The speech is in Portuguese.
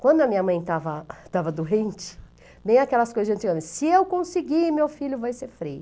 Quando a minha mãe estava estava doente, bem aquelas coisas, gente, se eu conseguir, meu filho vai ser feio.